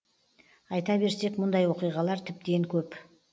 айта берсек мұндай оқиғалар тіптен көп